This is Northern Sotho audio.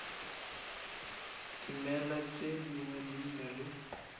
dimela tše dingwe di na